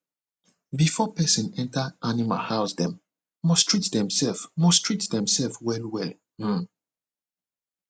before person enter animal housedem must treat themselves must treat themselves well well um